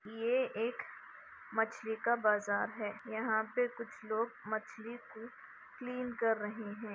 ये एक मछली का बाजार है यहाँ पे कुछ लोग मछली को क्लीन कर रहे है।